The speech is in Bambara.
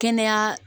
Kɛnɛya